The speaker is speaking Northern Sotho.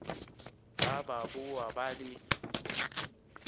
ba ba boa ba le